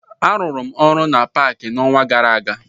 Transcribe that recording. Arụrụ m na paakị n'ọnwa gara aga